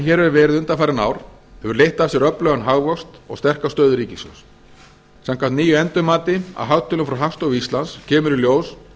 hér hefur verið undanfarin ár hefur leitt af sér öflugan hagvöxt og sterka stöðu ríkissjóðs samkvæmt nýju endurmati á hagtölum frá hagstofu íslands kemur í ljós